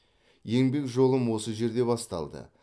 еңбек жолым осы жерде басталды